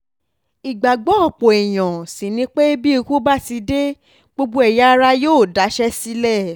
ìgbàgbọ́ ọ̀pọ̀ èèyàn sì ni pé bí ikú bá ti dé gbogbo ẹ̀yà ara yóò daṣẹ́ sílẹ̀